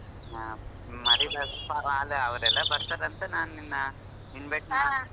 ಹಾ ಮಾರಿಬ್ಯಾಡರೆಪ ಅವ್ರೆಲ್ಲಾ ಬರ್ತಾರ ಅಂತ ನಾ ನಿನ್ನ invite ಹಾ.